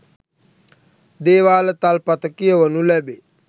දේවාල තල්පත කියවනු ලැබේ.